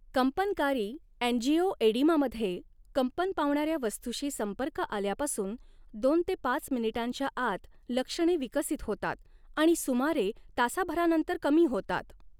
कंपनकारी अँजिओएडिमामध्ये, कंपन पावणाऱ्या वस्तूशी संपर्क आल्यापासून दोन ते पाच मिनिटांच्या आत लक्षणे विकसित होतात आणि सुमारे तासाभरानंतर कमी होतात.